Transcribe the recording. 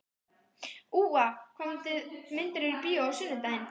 Úa, hvaða myndir eru í bíó á sunnudaginn?